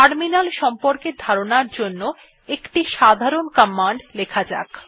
terminal সম্পর্কে ধারণার জন্য একটি সাধারণ কমান্ড লেখা যাক